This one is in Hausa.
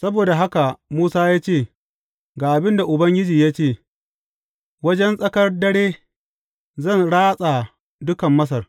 Saboda haka Musa ya ce, Ga abin da Ubangiji ya ce, Wajen tsakar dare, zan ratsa dukan Masar.